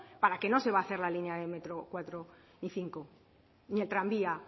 para que no se va a hacer la línea de metro cuatro y cinco ni el tranvía